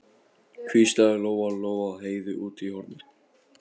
hvíslaði Lóa Lóa að Heiðu úti í horni.